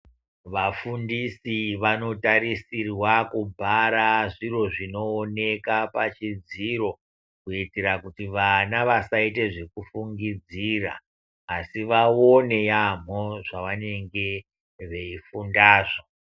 Vafundisi vanotarisirwa kubhara zviro zvinooneka pachidziro kuitira kuti vana vasaite zvekufungidzira asi vaone yaamho zvavanenge veifundazvo.